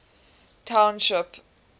township